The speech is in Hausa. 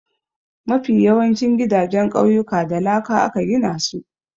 Mafi yawancin gidajen ƙauyuka da laka aka gina su.